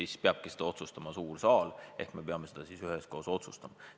Siis peabki seda otsustama suur saal ehk me peame seda siis üheskoos otsustama.